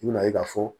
I bɛna ye k'a fɔ